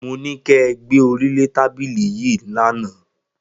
Mo ní kẹ gbé orí lé tábìlì yín lánàá!